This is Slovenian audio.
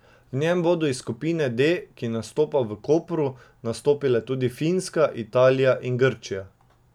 V njem bodo iz skupine D, ki nastopa v Kopru, nastopile tudi Finska, Italija in Grčija.